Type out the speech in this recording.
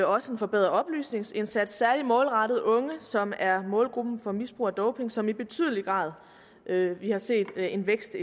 også en forbedret oplysningsindsats særlig målrettet unge som er en målgruppe for misbrug af doping som vi i betydelig grad har set en vækst